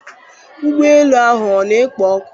Ụgbọ ala ahụ ọ na-ekpo ọkụ?